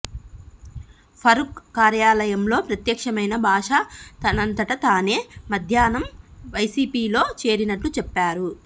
ఫరూక్ కార్యాలయంలో ప్రత్యక్షమైన భాషా తనంతట తానే మధ్యాహ్నం వైసీపీలో చేరినట్లు చెప్పారు